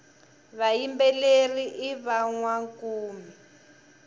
vayimbeleri i vanwankumi